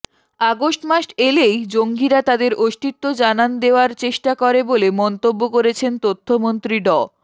August মাস এলেই জঙ্গিরা তাদের অস্তিত্ব জানান দেয়ার চেষ্টা করে বলে মন্তব্য করেছেন তথ্যমন্ত্রী ড